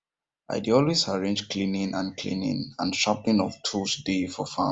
i dey always arrange cleaning and cleaning and sharpening of tools day for farm